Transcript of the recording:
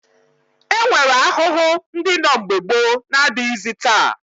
E nwere ahụhụ ndị nọ mgbe gboo na-adịghịzị taa